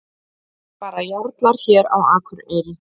Bara jarlar hér á Akureyri.